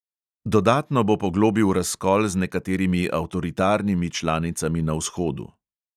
Dodatno bo poglobil razkol z nekaterimi avtoritarnimi članicami na vzhodu.